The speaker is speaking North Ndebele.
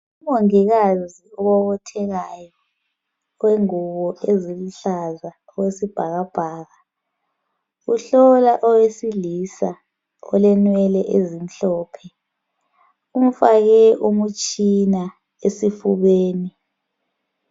Umongikazi obobothekayo, owengubo eziluhlaza okwesibhakabhaka uhlola owesilisa olenwele ezimhlophe umfake umtshina esifubeni.